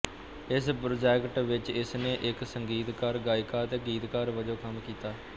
ਇਸ ਪ੍ਰੋਜੈਕਟ ਵਿੱਚ ਇਸਨੇ ਇੱਕ ਸੰਗੀਤਕਾਰ ਗਾਇਕਾ ਅਤੇ ਗੀਤਕਾਰ ਵਜੋਂ ਕੰਮ ਕੀਤਾ